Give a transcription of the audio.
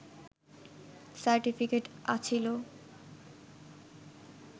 certificate আছিলো